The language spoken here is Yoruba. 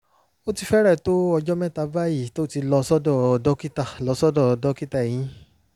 ó ti fẹ́rẹ̀ẹ́ tó ọjọ́ mẹ́ta báyìí tó ti lọ sọ́dọ̀ dókítà lọ sọ́dọ̀ dókítà eyín